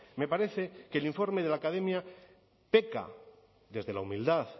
me parece que el informe de la academia peca desde la humildad